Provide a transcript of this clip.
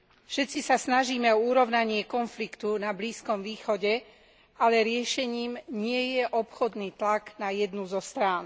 Všetci sa snažíme o urovnanie konfliktu na Blízkom východe, ale riešením nie je obchodný tlak na jednu zo strán.